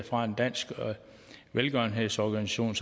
for en dansk velgørenhedsorganisation